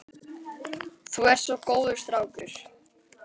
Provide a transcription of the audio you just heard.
Þú ert nú svo góður strákur.